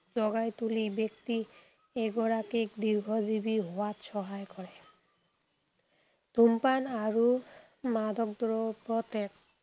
জগাই তুলি ব্যক্তি এগৰাকীক দীৰ্ঘজীৱী হোৱাত সহায় কৰে। ধূমপান আৰু মাদকদ্ৰব্য ত্যাগ